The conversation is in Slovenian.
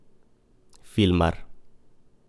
Filmar.